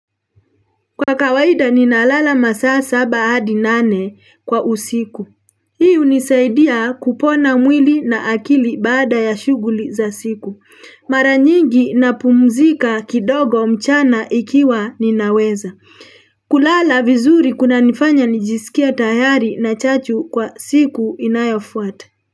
Kwa kawaida ninalala masaa saba hadi nane kwa usiku. Hii hunisaidia kupona mwili na akili baada ya shughuli za siku. Maranyingi napumzika kidogo mchana ikiwa ninaweza. Kulala vizuri kunanifanya nijisikie tayari na chachu kwa siku inayofuata.